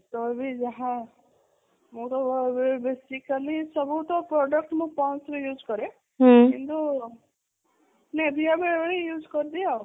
ତ ବି ଯାହା ମୁଁ ତ basically ସବୁ ତ product ମୁଁ ponds ର use କରେ କିନ୍ତୁ nivia ବେଳେବେଳେ use କରିଦିଏ ଆଉ